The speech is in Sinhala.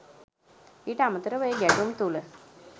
ඊට අමතරව ඒ ගැටුම් තුළ